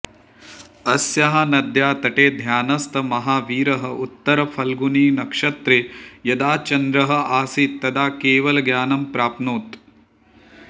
अस्याः नद्याः तटे ध्यानस्थः महावीरः उत्तरफल्गुणिनक्षत्रे यदा चन्द्रः आसीत् तदा केवलज्ञानं प्राप्नोत्